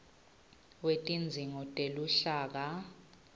wetidzingo teluhlaka